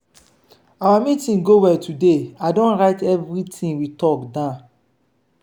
our meeting go well today i don write everything we talk down.